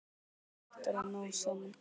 Endarnir hættir að ná saman.